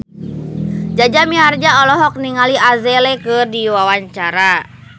Jaja Mihardja olohok ningali Adele keur diwawancara